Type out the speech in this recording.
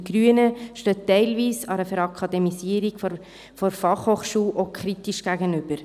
Wir Grünen stehen teilweise einer «Verakademisierung» der BFH kritisch gegenüber.